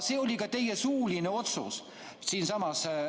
See oli ka teie suuline otsus siinsamas.